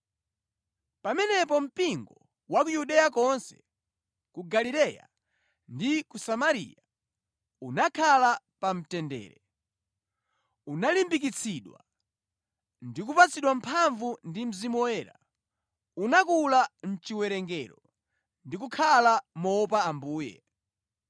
Pamenepo mpingo wa ku Yudeya konse, ku Galileya ndi ku Samariya unakhala pamtendere, unalimbikitsidwa; ndi kupatsidwa mphamvu ndi Mzimu Woyera, unakula mʼchiwerengero, ndi kukhala moopa Ambuye.